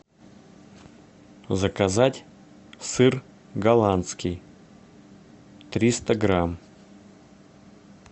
заказать сыр голландский триста грамм